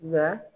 Nka